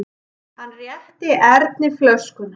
Hann rétti Erni flöskuna.